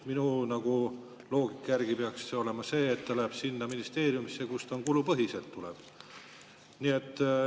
Minu loogika järgi peaks siis olema nii, et ta läheb sinna ministeeriumisse, kust ta kulupõhiselt tuleb.